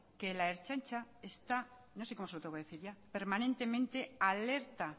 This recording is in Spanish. que la ertzaintza está no sé cómo se lo tengo que decir ya permanentemente alerta